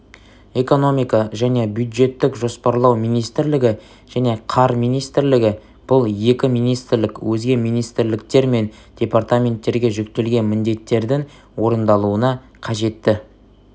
экономика және бюджеттік жоспарлау министрлігі және қар министрлігі бұл екі министрлік өзге министрліктер мен департаменттерге жүктелген міндеттердің орындалуына қажетті